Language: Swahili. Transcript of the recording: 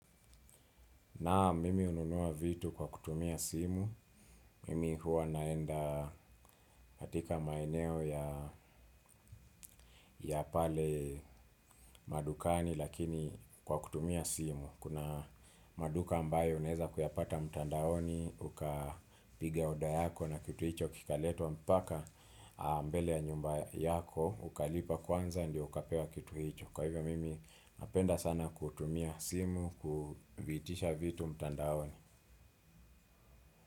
Naam, mimi hununua vitu kwa kutumia simu, mimi huwa naenda katika maeneo ya pale madukani lakini kwa kutumia simu. Kuna maduka ambayo unaweza kuyapata mtandaoni ukapigia oda yako na kitu hicho kikaletwa mpaka mbele ya nyumba yako, ukalipa kwanza ndio ukapewa kitu hicho. Kwa hivyo mimi napenda sana kutumia simu, kuitisha vitu mtandaoni.